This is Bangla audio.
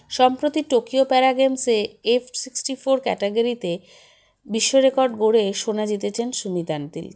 সম্প্রতি টোকিও para games -এ F sixty four category -তে বিশ্ব record গড়ে সোনা জিতেছেন সুমিত অন্টিল